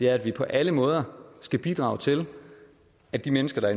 er at vi på alle måder skal bidrage til at de mennesker der